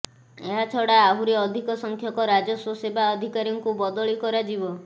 ଏହାଛଡ଼ା ଆହୁରି ଅଧିକ ସଂଖ୍ୟକ ରାଜସ୍ୱ ସେବା ଅଧିକାରୀଙ୍କୁ ବଦଳି କରାଯିବ